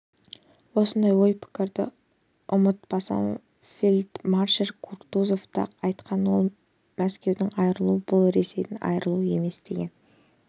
осындай ой-пікірді ұмытпасам фельдмаршал кутузов та айтқан ол мәскеуден айырылу бұл ресейден айырылу емес деген